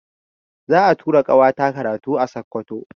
Za'a tura ƙawata karatu a Sokoto.